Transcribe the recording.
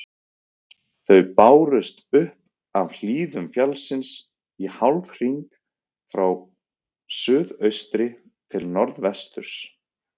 þau bárust upp af hlíðum fjallsins í hálfhring frá suðaustri til norðvesturs